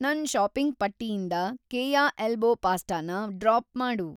ನನ್‌ ಷಾಪಿಂಗ್‌ ಪಟ್ಟಿಯಿಂದ ಕೇಯ ಎಲ್ಬೋ ಪಾಸ್ಟಾನ ಡ್ರಾಪ್‌ ಮಾಡು.